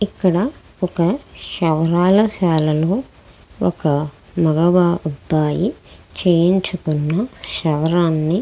ఇక్కడ ఒక క్షవరాల శాల లో ఒక మగ అబ్బాయి చేయించుకున్న క్షవరాన్ని.